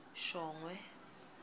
shongwe